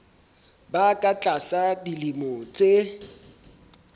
ba ka tlasa dilemo tse